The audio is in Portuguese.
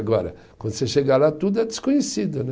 Agora, quando você chega lá, tudo é desconhecido, né?